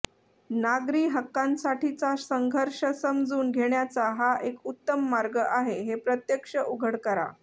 नागरी हक्कांसाठीचा संघर्ष समजून घेण्याचा हा एक उत्तम मार्ग आहे हे प्रत्यक्ष उघड करा